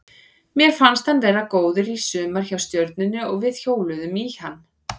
Mér fannst hann vera góður í sumar hjá Stjörnunni og við hjóluðum í hann.